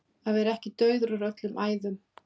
Að vera ekki dauður úr öllum æðum